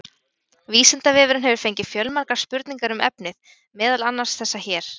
Vísindavefurinn hefur fengið fjölmargar spurningar um efnið, meðal annars þessar hér: